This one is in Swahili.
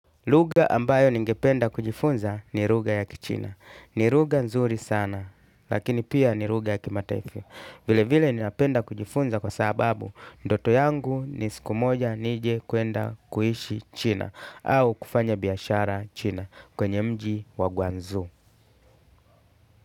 Lugha ambayo ningependa kujifunza ni lugha ya kichina. Ni lugha nzuri sana, lakini pia ni lugha ya kimataifa. Vile vile ninapenda kujifunza kwa sababu, ndoto yangu ni siku moja nije kuenda kuishi china au kufanya biashara china kwenye mji wa guanzu.